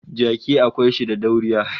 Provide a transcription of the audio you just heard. Jaki akwai shi da dauriya